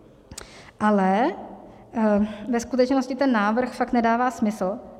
Ale ve skutečnosti ten návrh fakt nedává smysl.